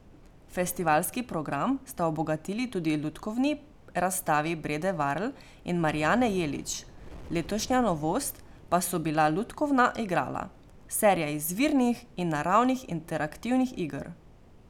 Festivalski program sta obogatili tudi lutkovni razstavi Brede Varl in Marijane Jelić, letošnja novost pa so bila Lutkovna igrala, serija izvirnih in naravnih interaktivnih iger.